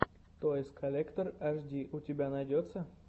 тойс коллектор аш ди у тебя найдется